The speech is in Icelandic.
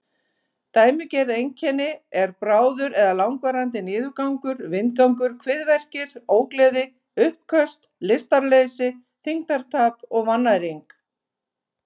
Dæmigerð einkenni eru bráður eða langvarandi niðurgangur, vindgangur, kviðverkir, ógleði, uppköst, lystarleysi, þyngdartap og vannæring.